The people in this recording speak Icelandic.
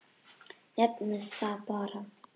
Nefndu það bara.